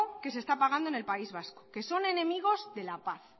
que se está apagando en el país vasco que son enemigos de la paz